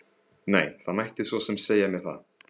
Nei, það mætti svo sem segja mér það.